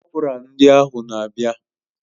Kọpura ndị ahụ na abia